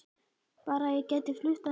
Bara að ég gæti flutt að heiman